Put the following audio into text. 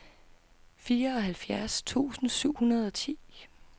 fireoghalvfjerds tusind syv hundrede og ti